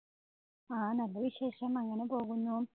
ആ നല്ല വിശേഷം. അങ്ങനെ പോകുന്നു.